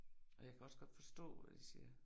Og jeg kan også godt forstå, hvad de siger